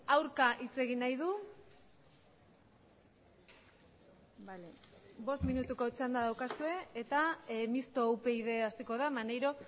aurka hitz egin nahi du bost minutuko txanda daukazue eta mistoa upyd hasiko da maneiro